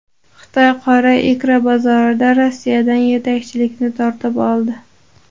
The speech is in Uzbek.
Xitoy qora ikra bozorida Rossiyadan yetakchilikni tortib oldi.